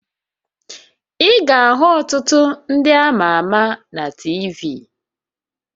Ị ga-ahụ ọtụtụ ndị ama ama na TV